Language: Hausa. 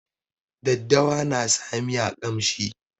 Daddawa na sa miya ƙamshi.